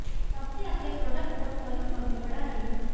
company अपने product portfolio को भी बढ़ा रही है